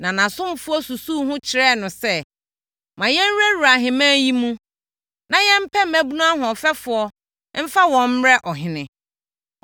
Na nʼasomfoɔ susuu ho kyerɛɛ no sɛ, “Ma yɛnwurawura ahemman yi mu, na yɛmpɛ mmaabunu ahoɔfɛfoɔ mfa wɔn mmrɛ ɔhene.